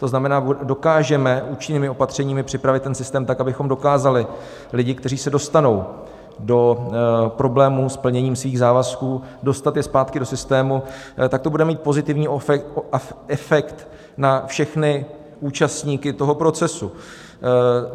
To znamená, dokážeme účinnými opatřeními připravit ten systém tak, abychom dokázali lidi, kteří se dostanou do problémů s plněním svých závazků, dostat je zpátky do systému, tak to bude mít pozitivní efekt na všechny účastníky toho procesu.